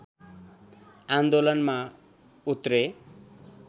आन्दोलनमा उत्रे